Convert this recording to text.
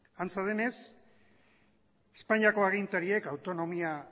antza denez espainiako agintariek autonomia